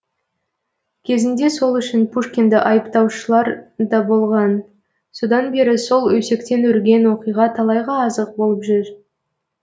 кезінде сол үшін пушкинді айыптаушылар да болған содан бері сол өсектен өрген оқиға талайға азық болып жүр